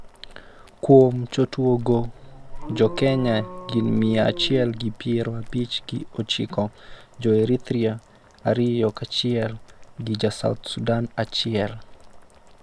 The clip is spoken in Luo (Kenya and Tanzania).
kuom jotuo go jo Kenya gin mia achiel gi piero abich gi ochiko, jo Eritrea ariyo kachiel gi ja South sudan achiel